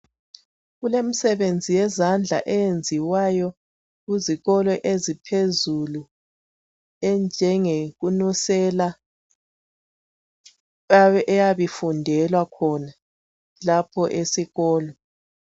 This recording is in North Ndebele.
Kulemisebenzi yezandla eyenziwayo kuzikolo eziphezulu enjengekunusela eyabi fundelwa khona lapho esikolo